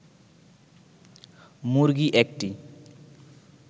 মুরগি ১টি